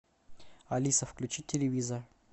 алиса включи телевизор